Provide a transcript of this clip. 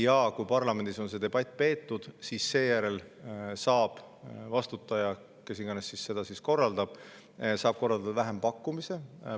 Ja kui parlamendis on see debatt peetud, siis saab vastutaja, kes iganes seda korraldab, korraldada vähempakkumise.